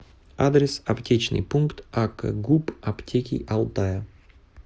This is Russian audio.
адрес аптечный пункт акгуп аптеки алтая